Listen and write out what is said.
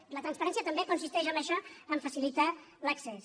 i la transparència també consisteix en això a facilitar ne l’accés